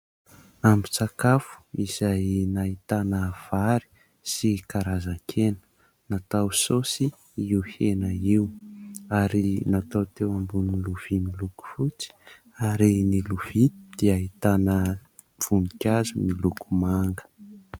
Ambin-tsakafo izay nahitana vary sy karazan-kena natao saosy io hena io ary natao teo ambonin'ny lovia miloko fotsy ary ny lovia dia ahitana voninkazo miloko manga.